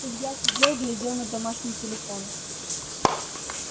илья сидел глядел на домашний телефон